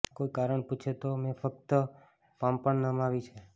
કોઈ કારણ પૂછે તો મેં ફક્ત પાંપણ નમાવી છે